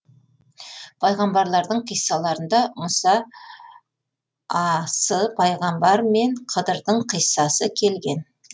пайғамбарлардың қиссаларында мұса а с пайғамбар мен хыдырдың қиссасы келген